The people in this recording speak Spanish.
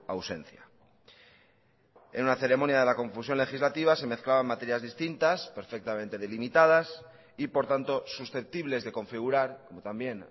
ausencia en una ceremonia de la confusión legislativa se mezclaban materias distintas perfectamente delimitadas y por tanto susceptibles de configurar como también